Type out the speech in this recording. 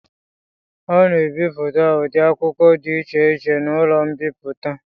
A na-ebipụta ụdị akwụkwọ dị iche iche n'ụlọ mbipụta.